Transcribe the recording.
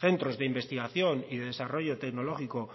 centros de investigación y desarrollo tecnológico